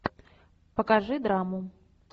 покажи драму